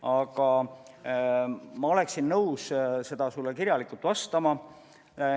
Aga ma olen nõus sulle kirjalikult vastama.